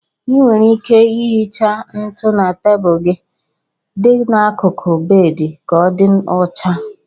Ị nwere ike ihicha ntụ na tebụlụ gị dị n'akụkụ bedị ka ọ dị ocha.